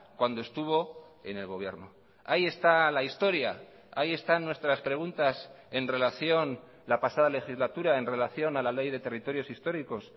cuando estuvo en el gobierno ahí está la historia ahí están nuestras preguntas en relación la pasada legislatura en relación a la ley de territorios históricos